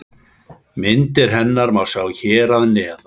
Myndir hennar má sjá hér að neðan.